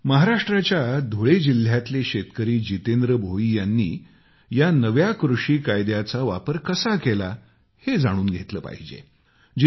महाराष्ट्राच्या धुळे जिल्ह्यातले शेतकरी जितेंद्र भोई यांनी या नव्या कृषी कायदयाचा वापार कसा केला ते जाणून घेतले पाहिजे